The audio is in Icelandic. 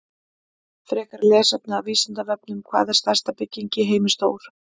Frekra lesefni af Vísindavefnum: Hvað er stærsta bygging í heimi stór?